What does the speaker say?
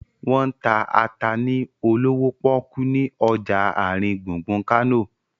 Wọ́n ń ta ata ni olówó pọ́kú ni ọjà àrin gbùngbùn Kánò